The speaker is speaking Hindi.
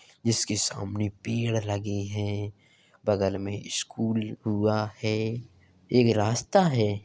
जिसके सामने पेड़ लगे हैं। बगल में एक ईस्कूल हुआ है | एक रास्ता है |